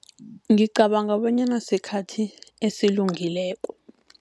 Ngicabanga bonyana sikhathi esilungileko.